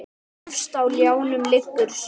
Efst á ljánum liggur sá.